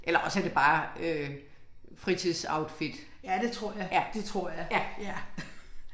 Eller også er det bare øh fritidsoutfit. Ja. Ja